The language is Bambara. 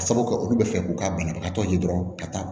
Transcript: Ka sabu kɛ olu bɛ fɛ k'u ka banabagatɔ ye dɔrɔn ka taa